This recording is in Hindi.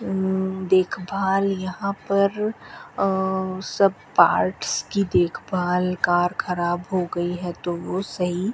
उम्म देखभाल यहां पर सब पार्ट्स की देखभाल कार खराब हो गई है तो सही --